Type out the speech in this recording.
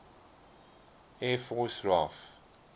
air force raaf